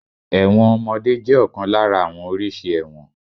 Ẹ̀wọ̀n ọmọdé jẹ́ ọ̀kan lára àwọn oríṣi ẹ̀wọ̀n.